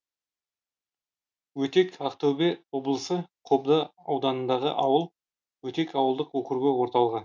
өтек ақтөбе облысы қобда ауданындағы ауыл өтек ауылдық округі орталығы